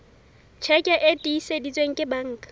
tjheke e tiiseditsweng ke banka